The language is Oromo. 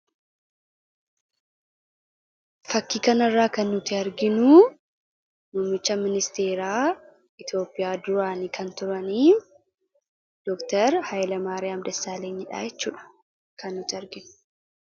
Fakkii kan irraa kan nuti arginu, Muumicha Ministeera Itiyoophiyaa duraanii kan turan Dr Haayilamari'aam Dassaalenyidha jechuudha.